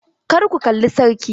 Kar ku kalla sarki!